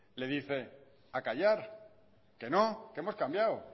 le dice a callar que no que hemos cambiado